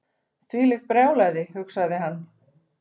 Þvílíkt brjálæði hugsaði hann.